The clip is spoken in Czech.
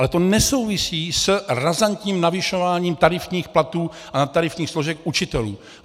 Ale to nesouvisí s razantním navyšováním tarifních platů a nadtarifních složek učitelů.